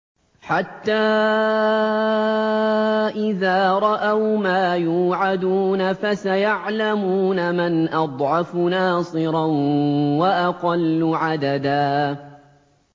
حَتَّىٰ إِذَا رَأَوْا مَا يُوعَدُونَ فَسَيَعْلَمُونَ مَنْ أَضْعَفُ نَاصِرًا وَأَقَلُّ عَدَدًا